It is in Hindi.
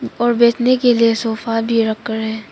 और बैठने के लिए सोफा भी रखा है।